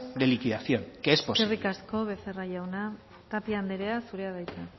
de liquidación que es posible eskerrik asko becerra jauna tapia anderea zurea da hitza